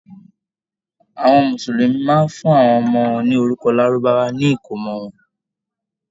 Àwọn Mùsùlùmí máa ń fún àwọn ọmọ wọn ní orúkọ Lárúbáwá nígbà ìkómọ wọn.